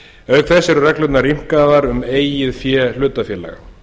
auk þess eru reglurnar rýmkaðar um eigið fé hlutafélaga